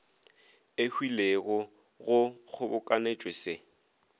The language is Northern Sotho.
e hwilego go kgobokanetšwe se